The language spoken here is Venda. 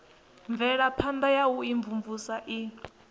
mvelaphana ya u imvumvusa i